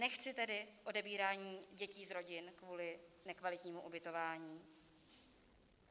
Nechci tedy odebírání dětí z rodin kvůli nekvalitnímu ubytování.